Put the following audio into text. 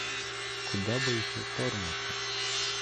куда бы еще вторгнуться